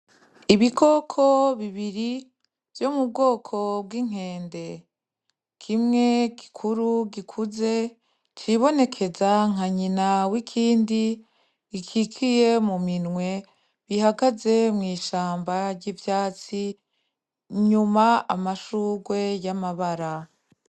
Ibikoko bibiri vyo mubwoko bwinkende kimwe gikuru gikuze cibonekeza nka nyina wikindi gikikiye mu minwe bihagaze mwishamaba ryivyatsi inyuma amashurwe yamabara.